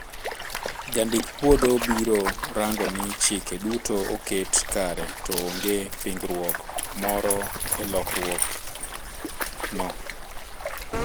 Jandik puodho biro rang'o ni chike duto oket kare to onge pingruok moro e lokruog no